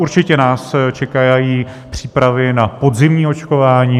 Určitě nás čekají přípravy na podzimní očkování.